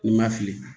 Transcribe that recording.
N'i ma fili